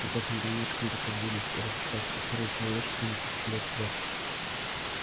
я просто не понимаю как можно предвидеть и расписать всю историю человечества на тысячу лет вперёд